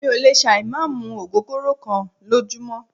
Mí ò lè ṣà ì má mú ògógóró kán lójúmọ́.